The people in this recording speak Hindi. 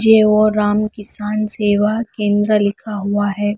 जे ओर राम किसान सेवा केंद्र लिखा हुआ है।